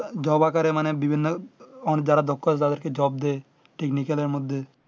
job আকারে মানে বিভিন্ন অন যারা দক্ষতা তাদেরকে job দে।